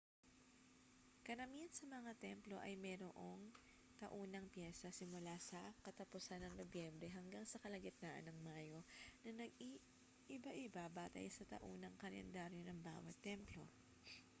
karamihan sa mga templo ay mayroong taunang piyesta simula sa katapusan ng nobyembre hanggang sa kalagitnaan ng mayo na nag-iiba-iba batay sa taunang kalendaryo ng bawat templo